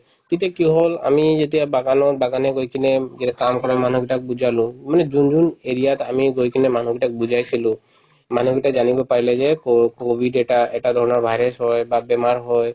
তেতিয়া কি হল আমি যেতিয়া বাগানত বাগানে গৈ কিনে উম যেতিয়া কাম কৰা মানুহ কেইটাক বুজালো মানে যোন যোন area ত আমি গৈ কিনে মানুহকেইটাক বুজাইছিলো মানুহ কেইটাই জানিব পাৰিলে যে ক‍‍‍ কভিড এটা এটা ধৰণৰ virus হয় বা বেমাৰ হয়